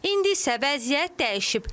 İndi isə vəziyyət dəyişib.